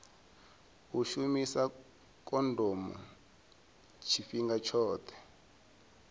u shumisa khondomo tshifhinga tshoṱhe